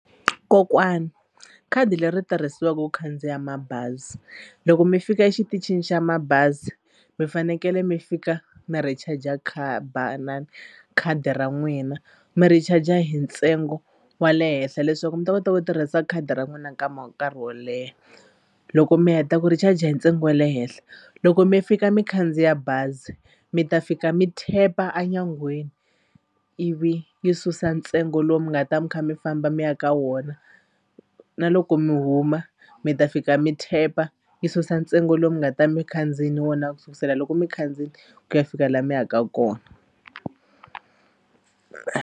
Kokwani khadi leri tirhisiwaka ku khandziya mabazi loko mi fika exitichini xa mabazi mi fanekele mi fika mi recharger na khadi ra n'wina mi recharger hi ntsengo wa le henhla leswaku mi ta kota ku tirhisa khadi ra n'wina nkama nkarhi wo leha. Loko mi heta ku recharger hi ntsengo wa le henhla loko mi fika mi khandziya bazi mi ta fika mi tap-a a nyangweni ivi yi susa ntsengo lowu mi nga ta mi kha mi famba mi ya ka wona na loko mi huma mi ta fika mi tap-a yi susa ntsengo lowu mi nga ta mi khandziyini wona ku sukisela loko mi khandziyi ku ya fika laha mi yaka kona.